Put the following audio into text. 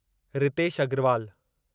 Ritesh Agarwal